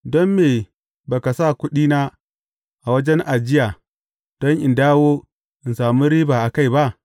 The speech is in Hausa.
Don me ba ka sa kuɗina a wajen ajiya, don in na dawo, in sami riba a kai ba?’